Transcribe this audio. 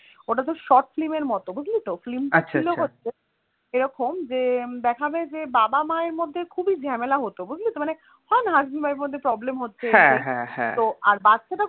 ওটা তোর short film এর মত বুঝলি তো film টা ছিল হচ্ছে যে এরকম দেখাবে যে বাবা মায়ের মধ্যে খুবই ঝামেলা হত বুঝলি তো মানে হয়না husband wife এর মধ্যে problem হচ্ছে তো আর বাচ্চাটা